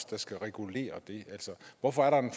der skal regulere det hvorfor er der en